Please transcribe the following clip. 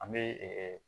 An bɛ